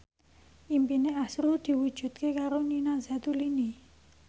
impine azrul diwujudke karo Nina Zatulini